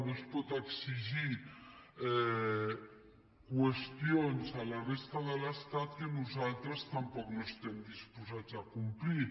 no es poden exigir qüestions a la resta de l’estat que nosaltres tampoc no estem disposats a complir